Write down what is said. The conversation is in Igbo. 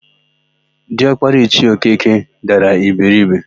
Diọkpara Ichie Okeke dara iberibe.